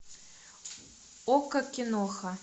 окко киноха